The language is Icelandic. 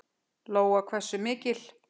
Lóa: Hversu mikil?